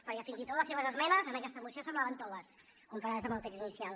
perquè fins i tot les seves esmenes en aquesta moció semblaven toves comparades amb el text inicial